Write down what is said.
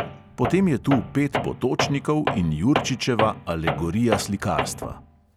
Potem je tu pet potočnikov in jurčičeva alegorija slikarstva.